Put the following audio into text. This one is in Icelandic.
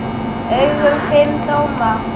augum fimm dómara.